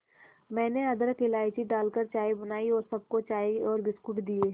मैंने अदरक इलायची डालकर चाय बनाई और सबको चाय और बिस्कुट दिए